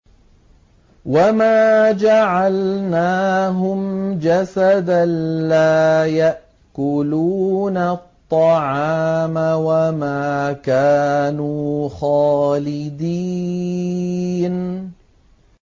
وَمَا جَعَلْنَاهُمْ جَسَدًا لَّا يَأْكُلُونَ الطَّعَامَ وَمَا كَانُوا خَالِدِينَ